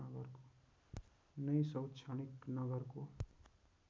नै शैक्षणिक नगरको